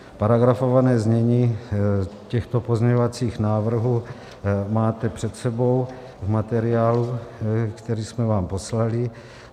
Paragrafované znění těchto pozměňovacích návrhů máte před sebou v materiálu, který jsme vám poslali.